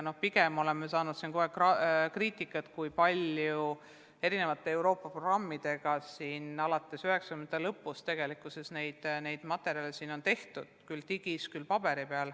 Pigem oleme saanud kogu aeg kriitikat, et kui palju erinevate Euroopa programmide abil alates 1990-ndate lõpust neid materjale on tehtud, küll digitaalseid, küll paberkandjal.